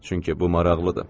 Çünki bu maraqlıdır.